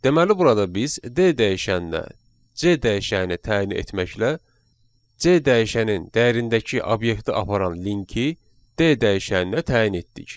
Deməli burada biz D dəyişəninə C dəyişəni təyin etməklə C dəyişənin dəyərindəki obyekti aparan linki D dəyişəninə təyin etdik.